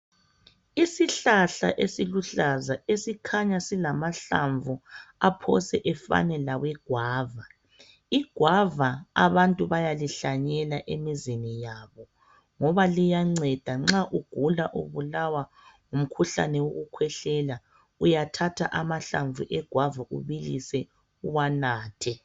Isihlahla esiluhlaza esikhanya silamahlamvu aphose efane lawe gwava .Igwava abantu bayalihlanyela emizini yabo .Ngoba liyanceda nxa ugula ubulawa ngumkhuhlane wokukhwehlela .Uyathatha amahlamvu egwava ubilise uwanathe.